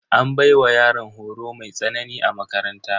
An baiwa yaran horo mai tsanani a makaranta.